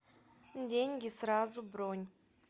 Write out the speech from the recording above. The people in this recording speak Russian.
деньги сразу бронь